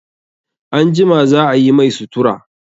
Anjima za a yi mai sutura.